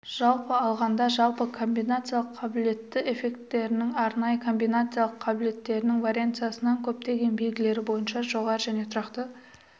жалпы алғанда жалпы комбинациялық қабілетті эффектілерінің арнайы комбинациялық қабілетінің варианстарынан көптеген белгілері бойынша жоғары және тұрақты